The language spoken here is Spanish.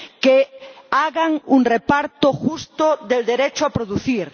que hagan un reparto justo del derecho a producir